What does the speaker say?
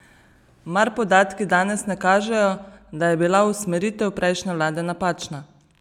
Mar podatki danes ne kažejo, da je bila usmeritev prejšnje vlade napačna?